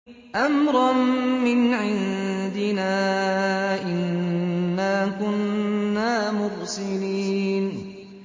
أَمْرًا مِّنْ عِندِنَا ۚ إِنَّا كُنَّا مُرْسِلِينَ